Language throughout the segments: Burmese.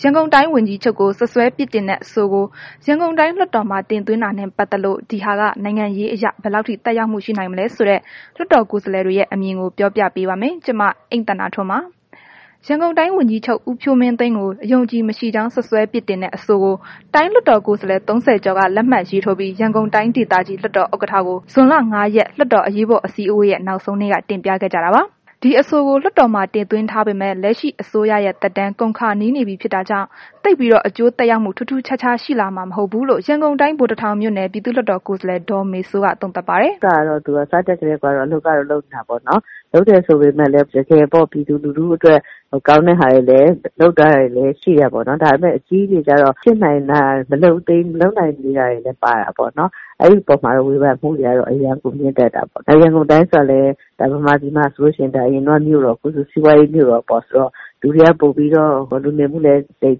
ရန်ကုန်တိုင်းဝန်ကြီးချုပ်ကို စွပ်စွဲပြစ်တင်တဲ့ အဆိုကို ရန်ကုန်တိုင်းလွှတ်တော်မှာ တင်သွင်းတာနဲ့ ပတ်သက်လို့ ဒီဟာက နိုင်ငံရေးအရ ဘယ်လောက်ထိ သက်ရောက်မှု ရှိနိုင်မလဲဆိုတဲ့ လွှတ်တော်ကိုယ်စားလှယ်တွေရဲ့ အမြင်ကို ပြောပြပေးပါမယ်။ ဒီအကြောင်း ဗွီအိုအေမြန်မာပိုင်း သတင်းထောက် မအိမ့်သန္တာထွန်းက တင်ဆက်ပေးပါမယ်။ ရန်ကုန်တိုင်းဝန်ကြီးချုပ် ဦးဖြိုးမင်းသိန်းကို အယုံအကြည်မရှိကြောင်း စွပ်စွဲ ပြစ်တင်တဲ့ အဆိုကို တိုင်းလွတ်တော်ကိုယ်စားလှယ် ၃၀ ကျော်က လက်မှတ်ရေးထိုးပြီး ရန်ကုန်တိုင်းဒေသကြီး လွှတ်တော် ဥက္ကဋ္ဌကို ဇွန်လ ၅ ရက် လွှတ်တော်အရေးပေါ် အစည်းအဝေးရဲ့ နောက်ဆုံးနေ့က တင်ပြခဲ့ကြတာပါ။ ဒီအဆိုကို လွှတ်တော်မှာ တင်သွင်းထားပေမယ့် လက်ရှိအစိုးရရဲ့ သက်တမ်း ကုန်ခါနီးနေပြီးဖြစ်တာကြောင့် သိပ်ပြီးတော့ အကျိုးသက်ရောက်မှု ထူးထူးခြားခြားရှိလာမှာ မဟုတ်ဘူးလို့ ရန်ကုန်တိုင်း ဗိုလ်တထောင်မြို့နယ် ပြည်သူ့လွှတ်တော်ကိုယ်စားလှယ် ဒေါမေစိုးက သုံးသပ်ပါတယ်။ “လုပ်တာကတော့ သူက စတက်ကတည်းကကို အလုပ်ကတော့ လုပ်နေတာပေါ့နော်။ လုပ်တယ်ဆိုပေမဲ့လည်း တကယ်ပြည်သူလူထုအတွက် ကောင်းတဲ့ဟာတွေ လုပ်ထားတာတွေလည်း ရှိတယ်ပေါ့နော်။ ဒါပေမဲ့ အကြီးတွေကျတော့ မလုပ်နိုင်သေးတာ၊ မဖြစ်နိုင်သေးတာတွေလည်း ပါတာပေါ့နော်။ အဲ့ဒီအပေါ်မှာတော့ ဝေဖန်မှုတွေက အရမ်းကို မြင့်တက်တာပေါ့နော်၊ ရန်ကုန်တိုင်းဆိုတာကလည်း အရင်ကဆိုရင် မြို့တော် အခုဆိုရင် စီးပွားရေးမြို့တော်ပေါ့ဆိုတော့ လူနေမှုလည်း သိပ်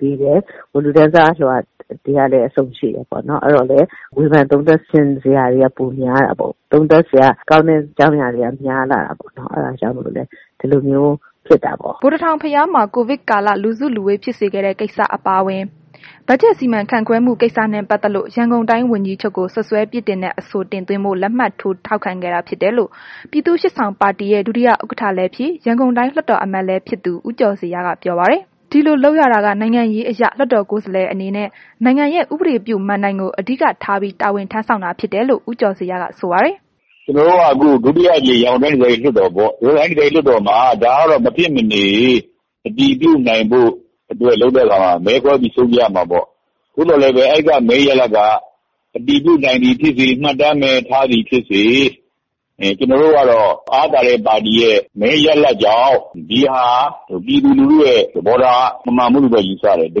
သည်းတယ်။ လူတန်းစားအလွှာတွေကလည်း အစုံရှိတယ်။ အဲ့တော့လည်း ဝေဖန်သုံးသပ်ချင်စရာတွေကလည်း ပိုများတာပေါ့။ သုံးသပ်စရာကောင်းတဲ့ အကြောင်းအရာတွေက များလာတာပေါ့။ အဲ့တာကြောင့်မို့လို့လည်း ဒီလိုမျိုးဖြစ်တာပေါ့။” ဗိုလ်တထောင်ဘုရားမှာ ကိုဗစ်ကာလ လူစုလူဝေးဖြစ်စေခဲ့တဲ့ကိစ္စ အပါအဝင် ဘတ်ဂျက် စီမံခန့်ခွဲမှု ကိစ္စတွေနဲ့ ပတ်သက်လို့ ရန်ကုန်တိုင်းဝန်ကြီးချုပ်ကို စွပ်စွဲပြစ်တင်တဲ့ အဆိုတင်သွင်းဖို့ လက်မှတ်ထိုး ထောက်ခံခဲ့တာဖြစ်တယ်လို့ ပြည်သူ့ရှေ့ဆောင်ပါတီရဲ့ ဒုတိယဥက္ကဋ္ဌလည်းဖြစ် ရန်ကုန်တိုင်းလွှတ်တော်အမတ်လည်းဖြစ်သူ ဦးကျော်ဇေယျက ပြောပါတယ်။ ဒီလို လုပ်ရတာက နိုင်ငံရေးအရ လွှတ်တော်ကိုယ်စားလှယ်အနေနဲ့ နိုင်ငံရဲ့ ဥပဒေပြုမဏ္ဍိုင်ကို အဓိကထားပြီး တာဝန်ထမ်းဆောင်တာဖြစ်တယ်လို့ ဦးကျော်ဇေယျက ဆိုပါတယ်။ “ကျနော်တို့ အခုဒါ ဒုတိယအကြိမ် ရန်ကုန်တိုင်းဒေသကြီး လွှတ်တော်ပေါ့၊ ဒီလွှတ်တော်မှာ ဒါကမဖြစ်မနေ အတည်ပြုနိုင်ဖို့အတွက် လုပ်တဲ့အခါမှာ မဲခွဲပြီး ဆုံးဖြတ်ရမှာပေါ့၊ သို့သော်လည်းပဲ အဲ့က မဲရလာဒ်က အတည်ပြုနိုင်သည်ဖြစ်စေ၊ မှတ်တမ်းပဲ ထားနိုင်သည်ဖြစ်စေ ကျနော်တို့ကတော့ ဒါဟာ အားပါတဲ့ပါတီရဲ့ မဲရလာဒ်ကြောင့် ဒီဟာ ပြည်သူလူထုရဲ့ သဘောထားမမှန်ဘူးလို့ပဲ ယူဆတယ်။ တ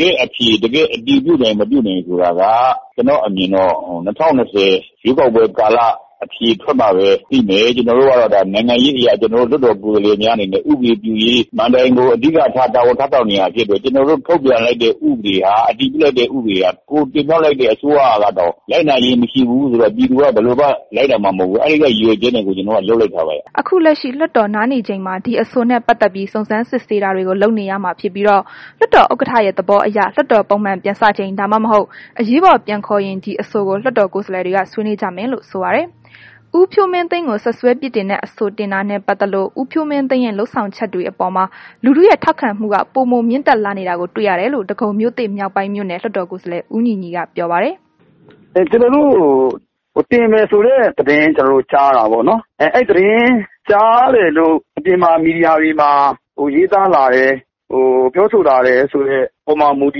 ကယ့်အဖြေ၊ တကယ်အတည်ပြုနိုင်၊ မပြုနိုင်ဆိုတာက ကျနော့်အမြင်တော့ ၂၀၂၀ ရွေးကောက်ပွဲကာလ အဖြေထွက်မှပဲ သိမယ်။ ကျနော်တို့ကတော့ ဒါနိုင်ငံရေးအရ ကျနော်တို့ လွှတ်တော်ကိုယ်စားလှယ်များ အနေနဲ့ ဥပဒေပြုရေမဏ္ဍိုင်ကို အဓိကထား တာဝန်ထမ်းဆောင် နေတာဖြစ်တယ်။ ကျနော်တို့ ထုတ်ပြန်လိုက်တဲ့ ဥပဒေဟာ အတည်ပြုလိုက်တဲ့ ဥပဒေဟာ ကိုယ်တင်မြှောက်လိုက်တဲ့ အစိုးရကတော့ လိုက်နာခြင်းမရှိဘူးဆိုရင် ပြည်သူကလည်း ဘယ်လိုမှ လိုက်နာမှာမဟုတ်ဘူး။ အဲ့ဒီအတွက် ရည်ရွယ်ချက်နဲ့ကို ကျနော်တို့က လုပ်လိုက်တာပဲ။” အခုလက်ရှိ လွှတ်တော်နားနေချိန်မှာ ဒီအဆိုနဲ့ ပတ်သက်ပြီး စုံစမ်းစစ်ဆေးတာတွေကို လုပ်နေရမှာဖြစ်ပြီးတော့ လွှတ်တော်ဥက္ကဋ္ဌရဲ့ သဘောအရ လွှတ်တော် ပုံမှန်ပြန်စချိန် ဒါမှမဟုတ် အရေးပေါ် ပြန်ခေါ်ရင် ဒီအဆိုကို လွှတ်တော်ကိုယ်စားလှယ်တွေက ဆွေးနွေးကြမယ်လို့ဆိုပါတယ်။ ဦးဖြိုးမင်းသိန်းကို စွပ်စွဲပြစ်တင်တဲ့အဆိုတင်တာနဲ့ပတ်သက်လို့ ဦးဖြိုးမင်းသိန်းရဲ့ လုပ်ဆောင်မှုတွေအပေါ်မှာ လူထုရဲ့ ထောက်ခံမှုတွေက ပိုမိုမြင့်တက်လာနေတာကို တွေ့ရတယ်လို့ ဒဂုံမြို့သစ်မြောက်ပိုင်းမြို့နယ် လွှတ်တော်ကိုယ်စားလှယ် ဦးညီညီက ပြောပါတယ်။ “ကျနော်တို့ ဟို တင်တယ်ဆိုတဲ့ သတင်းကြားတာပေါ့နော်။ အဲ့သတင်းကြားတယ်လို့ အပြင်မှာ မီဒီယာတွေမှာ ရေးသားလာတယ် ပြောဆိုလာတယ်ဆိုတဲ့ အပေါ်မှာ မူတ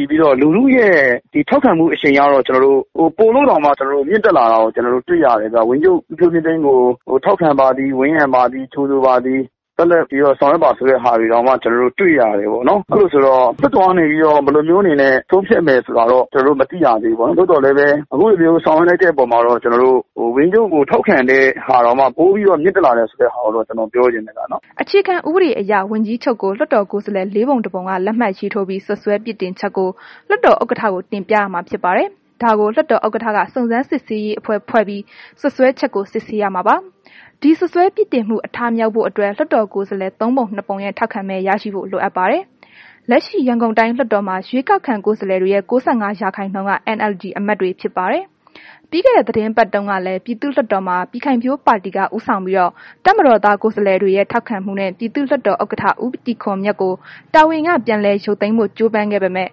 ည်ပြီးတော့ လူထုရဲ့ ထောက်ခံမှု အရှိန်ကတော့ ကျနော်တို့ ပိုပြီးတော့ မြင့်တက်လာတာကို တွေ့ရတယ်၊ ဝန်ကြီးချုပ် ဦးဖြိုးမင်းသိန်းကို ထောက်ခံပါသည်၊ ဝန်းရံပါသည်၊ ကြိုဆိုပါသည်၊ ဆက်လက်ပြီးတော့ ဆောင်ရွက်ပါ ဆိုတဲ့ဟာတွေတောင်မှ ကျနော်တို့တွေ့ရတယ်ပေါ့နော်။ အဲ့လိုဆိုတော့ လွှတ်တော်ကနေပြီးတော့ ဘယ်လိုမျိုးအနေနဲ့ ဆုံးဖြတ်မယ်ဆိုတာတော့ ကျနော်တို့ မသိရသေးဘူးပေါ့၊ ဒါပေမဲ့ အခုလိုမျိုးဆောင်ရွက်လိုက်တဲ့အပေါ်မှာတော့ ဝန်ကြီးချုပ်ကိုထောက်ခံတဲ့ဟာက ပိုပြီးတော့ မြင့်တက်လာတယ်ဆိုတာကိုတော့ ကျနော်ပြောချင်တယ်။” အခြေခံဥပဒေအရ ဝန်ကြီးချုုပ်ကို လွှတ်တော်ကိုယ်စားလှယ် ၄ ပုံ ၁ ပုံက လက်မှတ်ရေးထိုးပြီး စွပ်စွဲပြစ်တင်ချက်ကို လွှတ်တော်ဥက္ကဋ္ဌကို တင်ပြရမှာဖြစ်ပါတယ်။ ဒါကို လွှတ်တော်ဥက္ကဋ္ဌက စုံစမ်း စစ်ဆေးရေးအဖွဲ့ဖွဲ့ပြီး စွပ်စွဲချက်ကို စစ်ဆေးရမှာပါ။ ဒီစွပ်စွဲပြစ်တင်မှု အထမြောက်ဖို့အတွက် လွှတ်တော်ကိုယ်စားလှယ် ၃ပုံ ၂ ပုံရဲ့ ထောက်ခံမဲ ရရှိဖို့လိုအပ်ပါတယ်။ လက်ရှိ ရန်ကုန်တိုင်းလွတ်တော်မှာ ရွေးကောက်ခံကိုယ်စားလှယ်တွေရဲ့ ၉၅ ရာခိုင်နှုန်းက NLD အမတ်တွေဖြစ်ပါတယ်။ ပြီးခဲ့တဲ့ သီတင်းပတ်တုန်းကလည်း ပြည်သူ့လွှတ်တော်မှာ ပြည်ခိုင်ဖြိုးပါတီက ဦးဆောင်ပြီး တပ်မတော်သားကိုယ်စားလှယ်တွေရဲ့ ထောက်ခံမှုနဲ့ ပြည်သူ့လွှတ်တော်ဥက္ကဋ္ဌ ဦးတီခွန်မြတ်ကို တာဝန်က ပြန်လည်ရုပ်သိမ်းဖို့ ကြိုးပမ်းခဲ့ပေမယ့်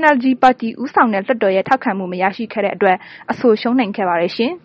NLD ပါတီ ဦးဆောင်တဲ့ လွတ်တော်ရဲ့ ထောက်ခံမှုမရရှိခဲ့တဲ့အတွက် အဆိုရှုံးနိမ့်ခဲ့ပါတယ်ရှင်။